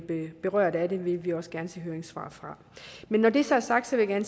berørt af det vil vi også gerne se høringssvar fra men når det så er sagt vil jeg